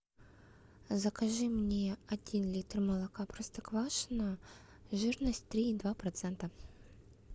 закажи мне один литр молока простоквашино жирность три и два процента